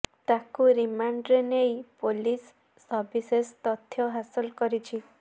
ତାକୁ ରିମାଣ୍ଡରେ ନେଇ ପୋଲିସ ସବିଶେଷ ତଥ୍ୟ ହାସଲ କରିଛି